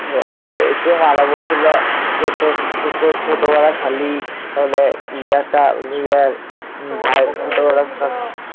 এসে মারা বলছিল তোর ছোট শালি